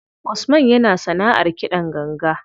Usman yana sanaʼar kiɗan ganga.